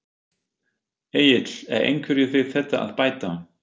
Egill er einhverju við þetta að bæta?